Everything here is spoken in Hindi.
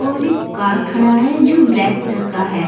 और एक कार खड़ा है जो ब्लैक कलर का है।